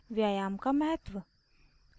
व्यायाम का महत्व